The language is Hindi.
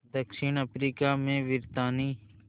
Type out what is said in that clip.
दक्षिण अफ्रीका में ब्रितानी